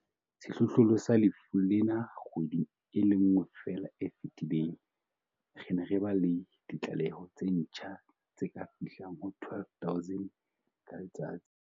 Sehlohlolong sa lefu lena kgweding e le nngwe feela e fetileng, re ne re ba le ditlaleho tse ntjha tse ka fihlang ho 12 000 ka letsatsi.